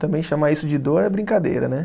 também chamar isso de dor é brincadeira, né?